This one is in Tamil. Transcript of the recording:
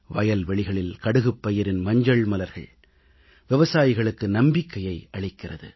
வயல்வெளிகளில் கடுகுப் பயிரின் மஞ்சள் மலர்கள் விவசாயிகளுக்கு நம்பிக்கையை அளிக்கிறது